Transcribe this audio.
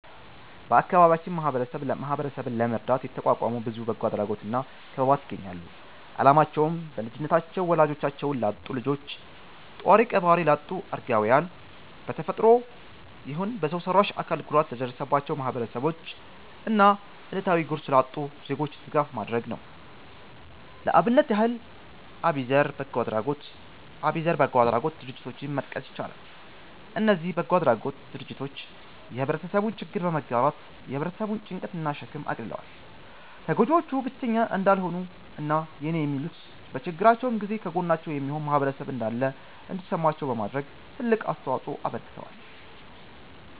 በአከባቢያችን ማህበረሰብን ለመርዳት የተቋቋሙ ብዙ በጎ አድራጎት እና ክበባት ይገኛሉ። አላማቸውም: በልጅነታቸው ወላጆቻቸውን ላጡ ልጆች፣ ጧሪ ቀባሪ ላጡ አረጋውያን፣ በ ተፈጥሮም ይሁን በሰው ሰራሽ አካል ጉዳት ለደረሰባቸው ማህበረሰቦች እና እለታዊ ጉርስ ላጡ ዜጎች ድጋፍ ማድረግ ነው። ለአብነት ያህል አቢዘር በጎ አድራጎት ድርጀትን መጥቀስ ይቻላል። እነዚ በጎ አድራጎት ድርጅቶች የህብረተሰቡን ችግር በመጋራት የ ህብረተሰቡን ጭንቀት እና ሸክም አቅልለዋል። ተጎጂዎቹ ብቸኛ እንዳልሆኑ እና የኔ የሚሉት፤ በችግራቸው ጊዜ ከጎናቸው የሚሆን ማህበረሰብ እንዳለ እንዲሰማቸው በማድረግ ትልቅ አስተዋጽኦ አበርክተዋል።